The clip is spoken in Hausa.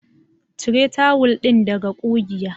Cire tawul ɗin daga ƙugiya.